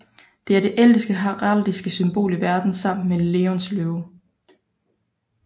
Det er det ældste heraldiske symbol i verden sammen med Leóns løve